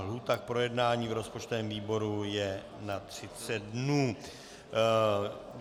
Lhůta k projednání v rozpočtovém výboru je na 30 dnů.